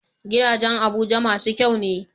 Gidajan abuja masu kyane